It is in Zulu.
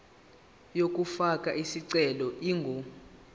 yokufaka isicelo ingu